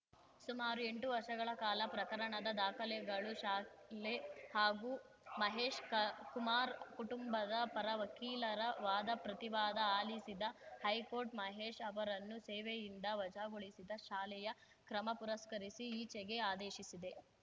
ಸುಮಾರು ಎಂಟು ವರ್ಷಗಳ ಕಾಲ ಪ್ರಕರಣದ ದಾಖಲೆಗಳು ಶಾಲೆ ಹಾಗೂ ಮಹೇಶ್‌ ಕ ಕುಮಾರ್‌ ಕುಟುಂಬದ ಪರ ವಕೀಲರ ವಾದಪ್ರತಿವಾದ ಆಲಿಸಿದ ಹೈಕೋರ್ಟ್‌ ಮಹೇಶ್‌ ಅವರನ್ನು ಸೇವೆಯಿಂದ ವಜಾಗೊಳಿಸಿದ ಶಾಲೆಯ ಕ್ರಮ ಪುರಸ್ಕರಿಸಿ ಈಚೆಗೆ ಆದೇಶಿಸಿದೆ